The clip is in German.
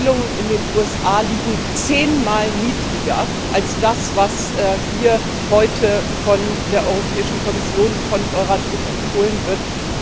Die Empfehlungen in den USA liegen zehnmal niedriger als das, was hier heute von der Europäischen Kommission, von Euratom empfohlen wird.